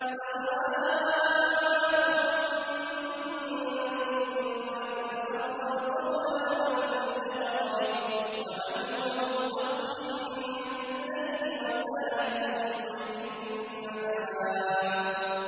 سَوَاءٌ مِّنكُم مَّنْ أَسَرَّ الْقَوْلَ وَمَن جَهَرَ بِهِ وَمَنْ هُوَ مُسْتَخْفٍ بِاللَّيْلِ وَسَارِبٌ بِالنَّهَارِ